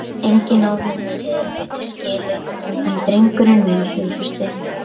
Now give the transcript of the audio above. Enginn á þennan seðil betur skilinn en drengurinn minn hughrausti.